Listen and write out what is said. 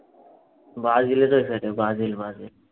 ব্রাজিলের ওই side এর ব্রাজিল ব্রাজিল